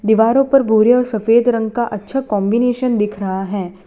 दीवारों पर भूरे और सफेद रंग का अच्छा कॉन्बिनेशन दिख रहा है।